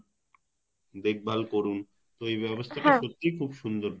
দেখভাল করুন তো এই ব্যবস্থা টা সত্যিই খুব সুন্দর